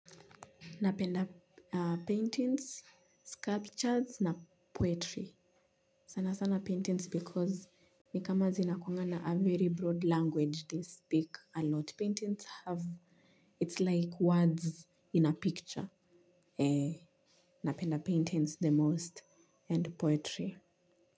Napenda paintings sculptures na poetry sana sana paintings because ni kama zinakuangana a very broad language they speak a lot paintings have it's like words in a picture ee napenda paintings the most and poetry.